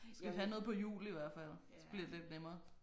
Skal vi have noget på hjul i hvert fald så bliver det lidt nemmere